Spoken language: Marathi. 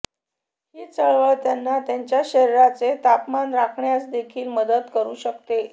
ही चळवळ त्यांना त्यांच्या शरीराचे तापमान राखण्यास देखील मदत करू शकते